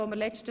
Fortsetzung